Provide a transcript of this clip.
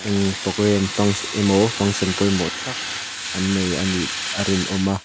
eng program emaw function pawimawh tak an nei a nih a rinawm a.